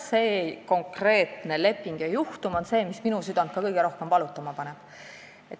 See konkreetne leping ja juhtum paneb ka minu südame kõige rohkem valutama.